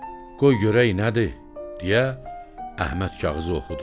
Qoy görək nədir, deyə Əhməd kağızı oxudu.